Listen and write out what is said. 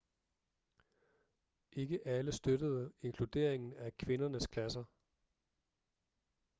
ikke alle støttede inkluderingen af kvindernes klasser